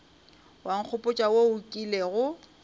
wa nkgopotša wo o kilego